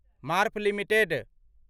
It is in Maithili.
मार्फ लिमिटेड